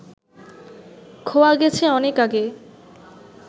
খোয়া গেছে অনেক আগে